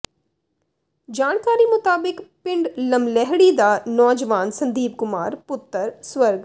ਜਾਣਕਾਰੀ ਮੁਤਾਬਿਕ ਪਿੰਡ ਲਮਲੈਹੜੀ ਦਾ ਨੌਜਵਾਨ ਸੰਦੀਪ ਕੁਮਾਰ ਪੁੱਤਰ ਸਵ